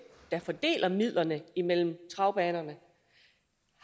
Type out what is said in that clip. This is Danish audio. der fordeler midlerne imellem travbanerne